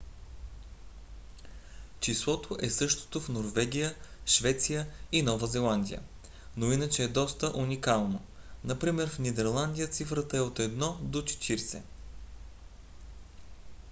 числото е същото в норвегия швеция и нова зеландия но иначе е доста уникално например в нидерландия цифрата е от 1 до 40